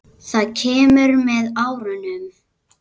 Það kemur með árunum.